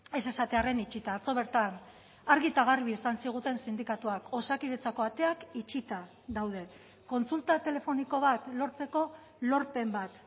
ez esatearren itxita atzo bertan argi eta garbi esan ziguten sindikatuak osakidetzako ateak itxita daude kontsulta telefoniko bat lortzeko lorpen bat